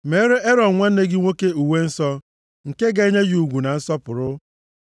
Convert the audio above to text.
Meere Erọn nwanne gị nwoke uwe nsọ, nke ga-enye ya ugwu na nsọpụrụ.